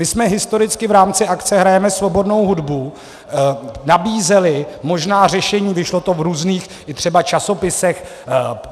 My jsme historicky v rámci akce Hrajeme svobodnou hudbu nabízeli možná řešení, vyšlo to v různých i třeba časopisech.